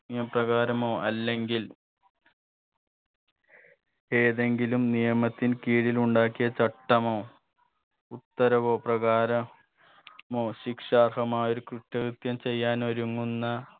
നിയമപ്രകാരമോ അല്ലെങ്കിൽ ഏതെങ്കിലും നിയമത്തിൻ കീഴിൽ ഉണ്ടാക്കിയ ചട്ടമോ ഉത്തരവോ പ്രകാരം മോ ശിക്ഷാർഹമായൊരു കുറ്റകൃത്യം ചെയ്യാൻ ഒരുങ്ങുന്ന